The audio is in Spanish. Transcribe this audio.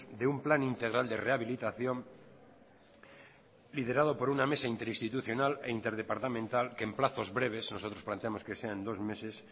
de un plan integral de rehabilitación liderado por una mesa interinstitucional e interdepartamental que en plazos breves nosotros planteamos que sea en dos meses